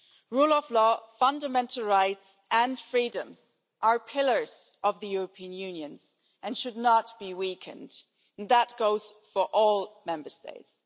Rule of law, fundamental rights and freedoms are pillars of the European Union and should not be weakened and that goes for all Member States.